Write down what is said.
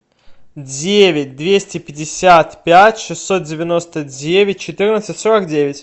девять двести пятьдесят пять шестьсот девяносто девять четырнадцать сорок девять